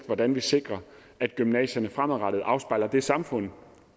hvordan vi sikrer at gymnasierne fremadrettet afspejler det samfund